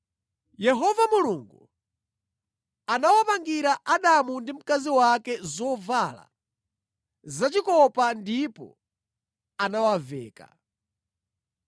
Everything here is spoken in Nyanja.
Yehova Mulungu anapangira Adamu ndi mkazi wake zovala zachikopa ndipo anawaveka.